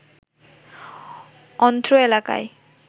অন্ত্র এলাকায়